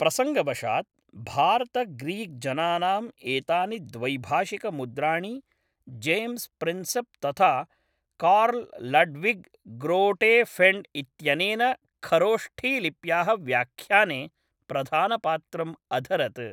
प्रसङ्गवशात् भारतग्रीक्जनानाम् एतानि द्वैभाषिकमुद्राणि जेम्स् प्रिन्सेप् तथा कार्ल् लड्विग् ग्रोटेफेण्ड् इत्यनेन खरोष्ठीलिप्याः व्याख्याने प्रधानपात्रम् अधरत्।